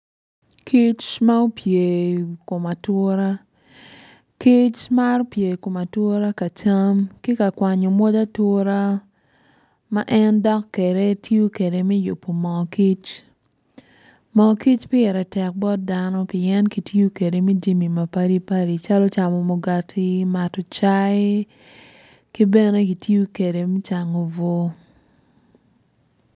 Kic ma opye i kom ature kic maro pye i kom ature ka kwanyo moc ature ma en dok kwede me yubo mo kic pien moo kic ki tiyo kwede me mato cayi ki bene kitiyo kwede me cango bur.